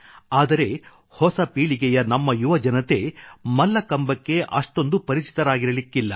ಆದರೆ ಹೊಸ ಪೀಳಿಗೆಯ ನಮ್ಮ ಯುವಜನತೆ ಮಲ್ಲಕಂಬಕ್ಕೆ ಅಷ್ಟೊಂದು ಪರಿಚಿತರಾಗಿರಲಿಕ್ಕಿಲ್ಲ